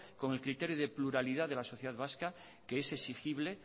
con el criterio de pluralidad de la sociedad vasca que es exigible